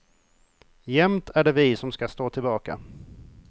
Jämt är det vi som ska stå tillbaka.